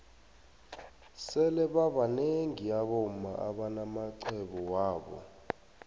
sele babnengi abomma abana maxhwebo wabo